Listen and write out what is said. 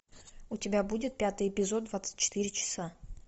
у тебя будет пятый эпизод двадцать четыре часа